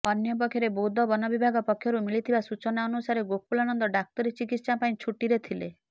ଅପରପକ୍ଷେ ବୌଦ୍ଧ ବନ ବିଭାଗ ପକ୍ଷରୁ ମିଳିଥିବା ସୂଚନା ଅନୁସାରେ ଗୋକୁଳାନନ୍ଦ ଡାକ୍ତରୀ ଚିକିତ୍ସା ପାଇଁ ଛୁଟିରେ ଥିଲେ